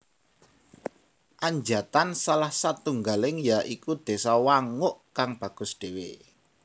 Anjatan salah satunggale ya iku désa Wanguk kang bagus dewek